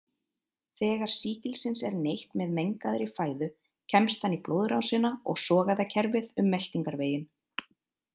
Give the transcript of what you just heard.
Þegar sýkilsins er neytt með mengaðri fæðu kemst hann í blóðrásina og sogæðakerfið um meltingarveginn.